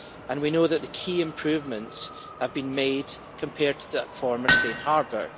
We know that key improvements have been made compared to the former Safe Harbor.